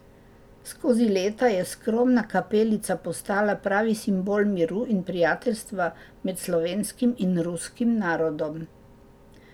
Skozi leta je skromna kapelica postala pravi simbol miru in prijateljstva med slovenskim in ruskim narodom.